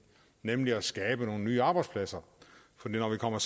nemlig at skabe nogle nye arbejdspladser for når vi kommer